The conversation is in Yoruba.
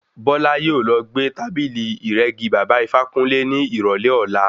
Bọ́lá yóò lọ gbé tábìlì ìrẹ́gi baba Ifákúnle ní ìrọ̀lẹ́ ọlá.